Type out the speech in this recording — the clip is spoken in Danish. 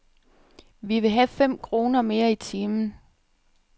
Vi vil have fem kroner mere i timen.